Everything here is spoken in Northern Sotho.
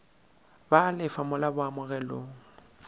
ba a lefa mola boamogelong